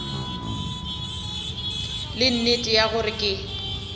le nnete ya gore ke